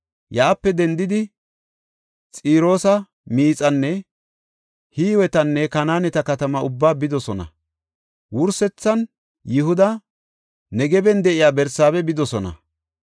Yaape dendidi, Xiroosa miixanne Hiwetanne Kanaaneta katamaa ubbaa bidosona. Wursethan Yihuda Negeban de7iya Barsaabe bidosona.